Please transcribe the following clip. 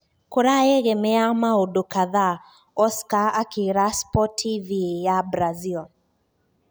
"Kurayegemea maũndu kadhaa," Oscar akiira Sportv ya Brazil.